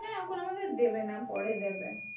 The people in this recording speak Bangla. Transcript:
আমাদের দেবে না পরে দেবে।